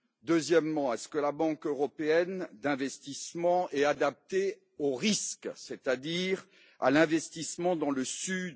Deuxièmement, est ce que la Banque européenne d'investissement est adaptée au risque, c'est à dire à l'investissement dans le Sud?